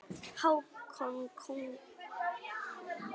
Hákon konung.